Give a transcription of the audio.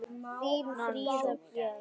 Þín Fríða Björk.